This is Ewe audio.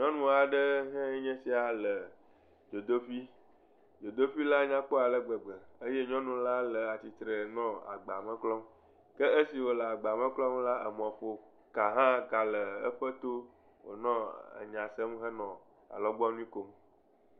Nyɔnu aɖe hãe nye sia le dzodoƒui. Dzodoƒila nyakpɔ ale gbegbe eye nyɔnula nɔ tsitre nɔɔ agbame klɔm. Ke esime wòle agbame klɔm la gaƒoga hã le eƒe to, wònɔ enya se hee alɔgbɔnu kom.